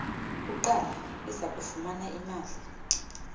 kuqala izakufumana imali